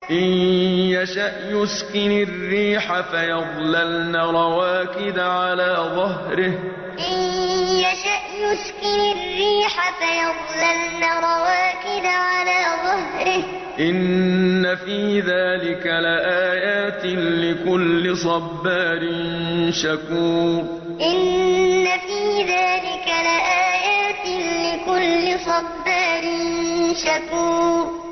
إِن يَشَأْ يُسْكِنِ الرِّيحَ فَيَظْلَلْنَ رَوَاكِدَ عَلَىٰ ظَهْرِهِ ۚ إِنَّ فِي ذَٰلِكَ لَآيَاتٍ لِّكُلِّ صَبَّارٍ شَكُورٍ إِن يَشَأْ يُسْكِنِ الرِّيحَ فَيَظْلَلْنَ رَوَاكِدَ عَلَىٰ ظَهْرِهِ ۚ إِنَّ فِي ذَٰلِكَ لَآيَاتٍ لِّكُلِّ صَبَّارٍ شَكُورٍ